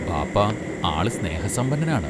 ബാപ്പ ആള് സ്നേഹ സമ്പന്നനാണ്.